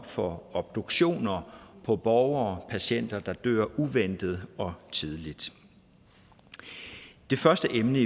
for obduktioner af borgere patienter der dør uventet og tidligt det første emne